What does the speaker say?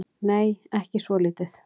Nei, ekki svolítið.